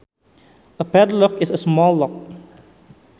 A padlock is a small lock